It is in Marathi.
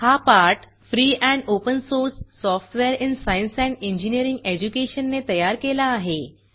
हा पाठ free and open source software in science and engineering education ने तयार केला आहे